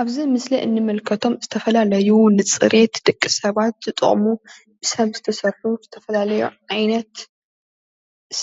ኣብዚ እንምልከቶ ዝተፈላለዩ ንፅሬት ደቂሰባት ዝጠቅሙ ብስብ ዝተሰርሑ ዝተፈልዩ ዓይነት